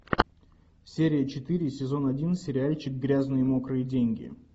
серия четыре сезон один сериальчик грязные мокрые деньги